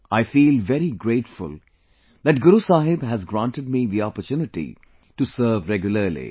I feel very grateful that Guru Sahib has granted me the opportunity to serve regularly